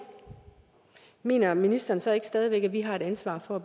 mener ministeren så stadig væk ikke at vi har et ansvar for